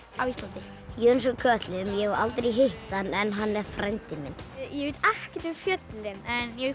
á Íslandi Jóhannes úr kötlum ég hef aldrei hitt hann en hann er frændi minn ég veit ekkert um fjöllin en ég